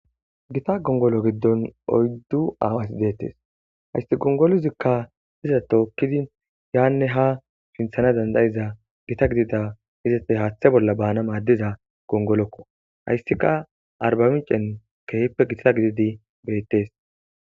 gita gongolo giddon oyddu aawasi deettes hayssi gongoluzikka iza tookkidi yaanne ha sinthana dandayiza gita gidida izete haaththe bolla baana maaddiza gongolokko hayssika arbamicen keehippe gita gididi beettes